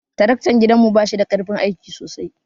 Tarakta gidan mu bashida karfin aiki sosai.